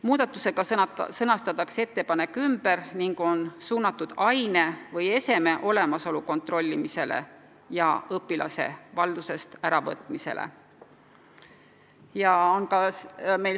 Muudatusega sõnastatakse ettepanek ümber, nüüd on see suunatud aine või eseme olemasolu kontrollimisele ja õpilase valdusest äravõtmisele.